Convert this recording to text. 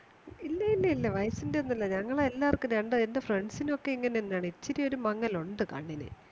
ഇല്യ ല്യ ല്ല്യ വയസ്സിന്റെന്നുല്ല ഞങ്ങൾ എല്ലാവർക്കുംണ്ട് എന്റെ friends നൊക്കെ ഇങ്ങനെയാണ്ഇച്ചിരി ഒരു മങ്ങലുണ്ട് കണ്ണിന്